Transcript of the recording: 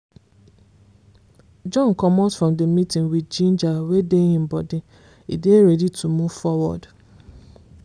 john commot from the meeting with ginger wey dey him body e dey ready to move forward.